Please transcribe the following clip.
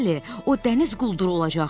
Bəli, o dəniz qulduru olacaqdı.